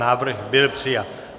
Návrh byl přijat.